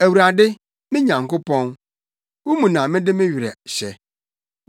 Awurade, me Nyankopɔn, wo mu na mede me werɛ hyɛ.